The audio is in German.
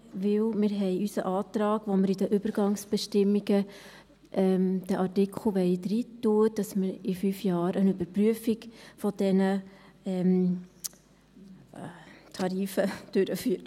Denn wir haben unseren Antrag, mit dem wir in die Übergangsbestimmungen schreiben wollen, dass man in fünf Jahren eine Überprüfung dieser Tarife durchführt.